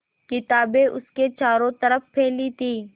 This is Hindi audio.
किताबें उसके चारों तरफ़ फैली थीं